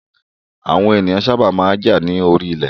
Àwọn èèyàn sábà máa ń jà lórí ilẹ̀